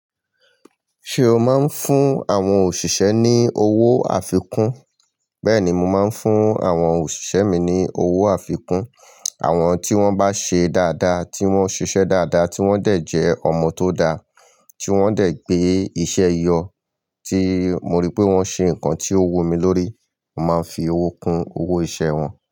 Ṣé o máa ń fún àwọn òṣìṣẹ́ ní owó àfikún? Bẹ́ẹ̀ni, mo máa ń fún àwọn òṣìṣẹ́ mi ní owó àfikún. Àwọn tí wọ́n bá ṣe dáadáa, tí wọ́n ṣiṣẹ́ dáadáa, tí wọ́n dẹ̀ jẹ́ ọmọ tó dá, tí wọ́n dẹ̀ gbé iṣẹ́ yọ, tí mo rí pé wọ́n ṣe nǹkan tí ó wumi lórí, mo màá nfi owó kun owó iṣẹ́ wọn.